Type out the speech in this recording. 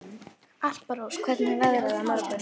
Alparós, hvernig er veðrið á morgun?